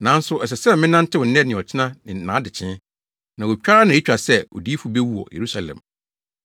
Nanso ɛsɛ sɛ menantew nnɛ ne ɔkyena ne nʼadekyee, na otwa ara na etwa sɛ odiyifo bewu wɔ Yerusalem!